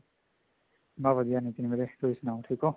ਬੱਸ ਵਧੀਆ ਨੀਤਿਨ ਵੀਰੇ ਤੁਸੀਂ ਸਨਾਓ ਠੀਕ ਓ